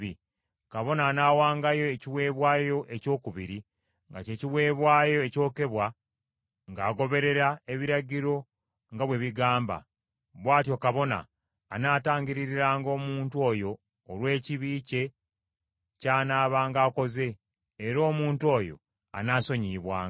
Kabona anaawangayo ekiweebwayo ekyokubiri nga kye kiweebwayo ekyokebwa ng’agoberera ebiragiro nga bwe bigamba. Bw’atyo kabona anaatangiririranga omuntu oyo olw’ekibi kye ky’anaabanga akoze, era omuntu oyo anaasonyiyibwanga.